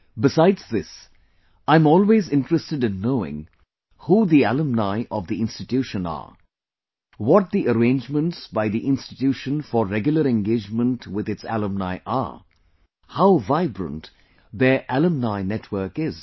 besides this, I am always interested in knowing who the alumni of the institution are, what the arrangements by the institution for regular engagement with its alumni are, how vibrant their alumni network is